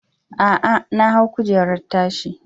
A'a, na hau kujerar tashi.